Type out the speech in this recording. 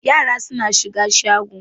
Yara suna shiga shagon.